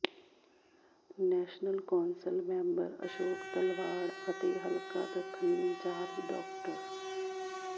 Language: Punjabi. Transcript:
national council member Ashok Talwar ਅਤੇ ਹਲਕਾ ਦੱਖਣੀ ਇੰਚਾਰਜ ਡਾ